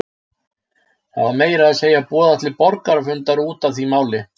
Það var meira að segja boðað til borgarafundar út af því máli.